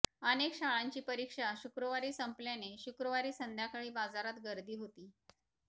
अनेक शाळांची परीक्षा शुक्रवारी संपल्याने शुक्रवारी संध्याकाळी बाजारात गर्दी होती